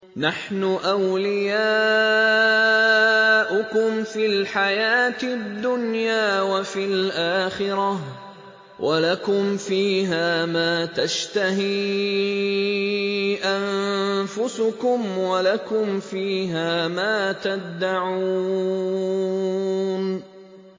نَحْنُ أَوْلِيَاؤُكُمْ فِي الْحَيَاةِ الدُّنْيَا وَفِي الْآخِرَةِ ۖ وَلَكُمْ فِيهَا مَا تَشْتَهِي أَنفُسُكُمْ وَلَكُمْ فِيهَا مَا تَدَّعُونَ